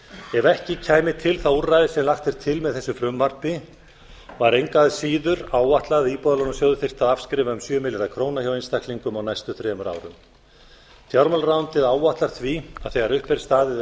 ef ekki kæmi til það úrræði sem lagt er til með þessu frumvarpi var engu að síður áætlað að íbúðalánasjóður þyrfti að afskrifa um sjö milljarða króna hjá einstaklingum á næstu þremur árum fjármálaráðuneytið áætlað því að þegar upp er staðið